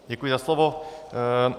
Děkuji za slovo.